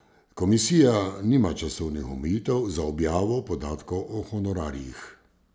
Komisija nima časovnih omejitev za objavo podatkov o honorarjih.